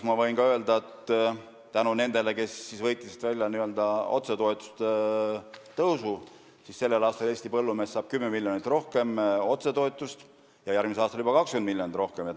Ma võin öelda ka, et tänu nendele, kes võitlesid välja otsetoetuste tõusu, saab Eesti põllumees otsetoetust sellel aastal 10 miljonit rohkem ja järgmisel aastal juba 20 miljonit rohkem.